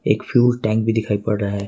एक fuel tank भी दिखाई पड़ रहा है।